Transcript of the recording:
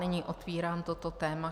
Nyní otevírám toto téma.